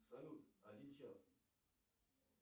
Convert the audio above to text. салют один час